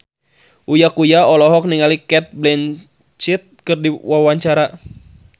Uya Kuya olohok ningali Cate Blanchett keur diwawancara